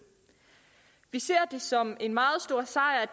vi ser som en meget stor sejr